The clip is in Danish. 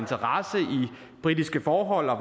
britiske forhold og